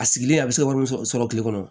A sigilen a bɛ se ka wari min sɔrɔ kile kɔnɔ